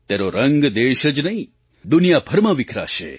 તેનો રંગ દેશ જ નહીં દુનિયાભરમાં વિખરાશે